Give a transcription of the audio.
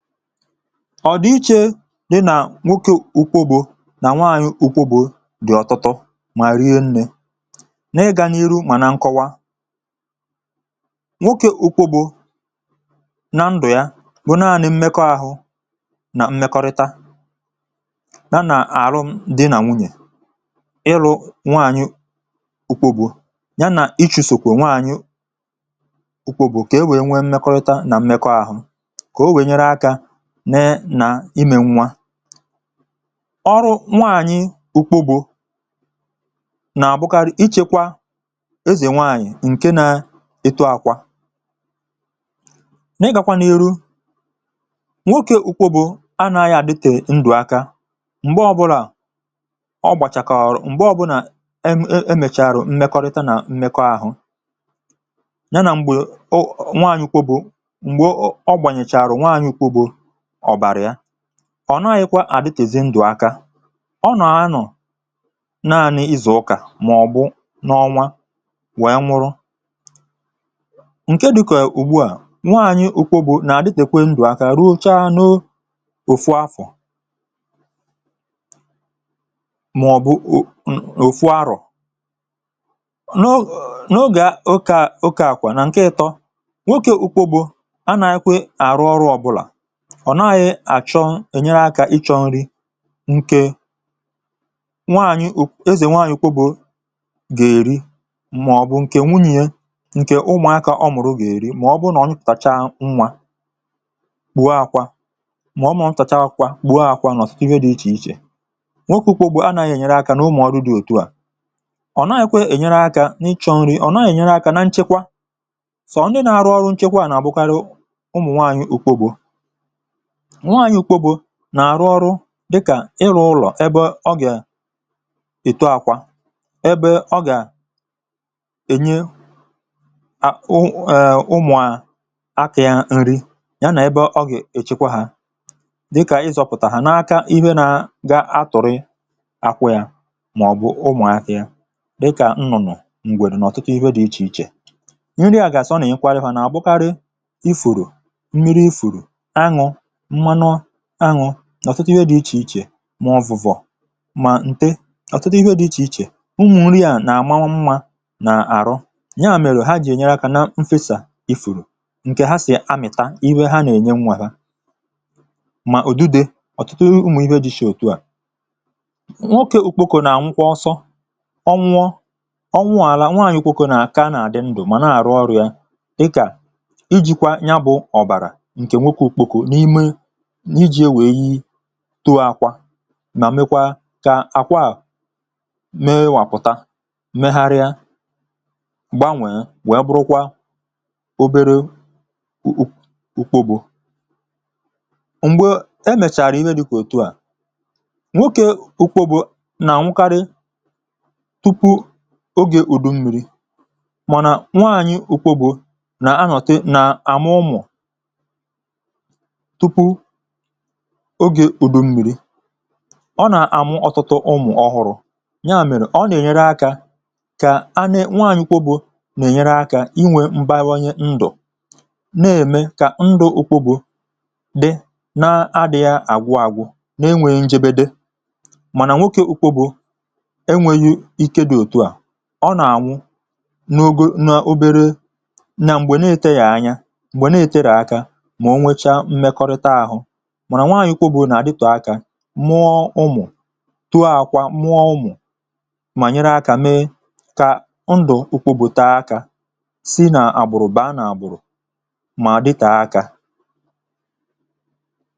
ọ̀ dị iche dị nà nwoke ụkwụ̇gbò nà nwaanyị̇ ụkwụ̇gbò. um Dị̀ ọ̀tụtụ mà rie, nne na-ịgà n’iru. Mà na nkọwa, nwoke ụkwụ̇gbò na ndụ̀ ya bụ̀ naanị̇ mmekọ ahụ nà mmekọrịta ya nà... àrụ dị̇ nà nwunyè. Ịlụ̇ nwaanyị̇ ụkwụ̇gbò ya nà ichèsòkwà nwaanyị ụkwụ̇gbò kà e wèe nwee mmekọrịta nà mmekọ ahụ. Ọrụ nwaanyị̇ ukwu bụ nà-àbụkarị ịchẹ̇kwà ezè nwaanyị̀, ǹke nà ịtụ akwà n’ịgàkwà n’eru. Nwoke ukwu bụ anàghị̇ àdịtè ndụ̀ aka m̀gbè ọbụlà ọ gbàchàkàrụ̀, m̀gbè ọbụlà emèchàrụ̀ mmekọrịta nà mmekọ ahụ̇ ya. Nà m̀gbè nwaanyị̇ ukwu bụ, ọ̀ naghị̇kwa àdịtìzì ndụ̀ aka. Ọ nọ̀, anọ̀ naanị̇ ịzụ̀ ụkà màọ̀bụ̀ n’ọnwa, wèe nwụrụ ǹke dịkà ùgbuà. Nwaanyị̇.. ụkwụ bụ̀ nà-àdịtèkwe ndụ̀ aka ruo cha anọụ òfù afọ̀ màọ̀bụ̀ òfù arọ̀. N’ogè um okààkwà nà ǹkè ịtọ, nwoke ụkwụ bụ̀ anàghị̇ kwe àrụ ọrụ ọbụlà, ọ̀ naghị̇ àchọ ènyere akà ịchọ̇ nri. ǹkè nwaànyị̀ ezè... nwaànyị̀ kwà bụ̀ gà-èri màọ̀bụ̀ ǹkè nwunyè, ǹkè ụmụ̀akà ọ mụ̀rụ gà-èri. Màọ̀bụ̀ nà ọ chụtacha nnwà, bùo àkwà bùo àkwà bùo àkwà. Nọ̀ site, nwere dị̇ iche iche. Nwoke ukwu̇ bụ̀ anàghị̇ ènyere akà nà ụmụ̀ọrụ dị̇. Òtu à, ọ naghị̇ kwè ènyere akà n’ịchọ̇ nri̇; ọ̀ naghị̇ ènyere akà nà nchekwà. Sọ ndị nà-arụ ọrụ nchekwa nà àbụkara ụmụ̀ nwaànyị̀ òkwo gbò. Nwaànyị̀ kpò bụ nà-àrụ ọrụ dịkà ịrụ̇ ụlọ̀, ebe ọ gà èto akwa, ebe ọ gà ènye akwu. Eee, ụmụ̀ à, akì̇ yà nri ya, nà ebe ọ gà èchekwa hȧ dịkà ịzọ̇pụ̀tà ha n’aka ihe nà ga-atụ̀rị akwụ yà. Màọ̀bụ̀ ụmụ̀ akì̇ yà dịkà nnụ̀nụ̀ m̀gwèrù nà ọ̀tụkà. Ihe.. dị̇ iche iche, nri à gàsọ nà ị kwarịhọ̇ nà àgbụkarị ifùrù mmiri, ifùrù aṅụ̇. Ọ̀tụtụ ihe dị̇ iche iche mà ǹte. Ọ̀tụtụ ihe dị̇ iche um iche, ụmụ̀ nri à nà-àma nwa nà àrọ yà, mèrè ha jì ènyere kà. Nà mfesà i fùrù ǹkè ha sì amị̀ta, iwe ha nà-ènye nwa hȧ, mà ùdide. Ọ̀tụtụ ụmụ̀ ibe jì sì òtu à. Nwoke ùkpòkò nà ànwụkwa. Ọsọ ọnwụ̇ ọnwụ̇... àlà, nwaàlà. Nwaànyị̀ ùkpòkò nà akà nà àdị ndụ̇, mà na àrụ ọrị̇ȧ dịkà ijikwa nyabụ̇, ọ̀bàrà, tuo àkwà, mà mekwà kà àkwà à mee. Wàpụ̀ta, meharịa, gbanwèe, wee bụrụkwa obere ùkwo. Bụ̀ m̀gbè emèchàrà ime, dịkà ùtù à, nwoke ùkwo bụ̀ nà nwukarị tupu oge ùdummiri. Mànà nwaanyị̀ ùkwo bụ nà anọtị nà àmụ ụmụ̀. Ọgè ùdò m̀mìrì, ọ nà-àmụ ọ̀tụtụ ụmụ̀ ọhụrụ̇. Nya mèrè ọ nà-ènyere akà kà a ne. Nwaànyị̀ kpobù nà-ènyere akà inwė mbaonye ndụ̀, na-ème kà ndụ̇ ụkwụ bụ̇ dị na-adị̇ghi̇ àgwụàgwụ, n’enwėghi̇ ṅjėbė dị. Mànà nwokė ụkwụ bụ̇ enwėghi̇ ike dị̇ òtù à, ọ nà-ànwụ n’ogȯ um nà obere, nà m̀gbè na-eterè ànya, m̀gbè na-eterè akà. Mụọ ụmụ̀, tuò àkwà, mụọ ụmụ̀, mà nyere akà. Mee kà ndụ̀ ukwù bùtee um akà, si n’àgbùrù ba n’àgbùrù, mà dịtà akà.